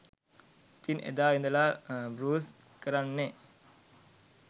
ඉතින් එදා ඉදලා බෲස් කරන්නේ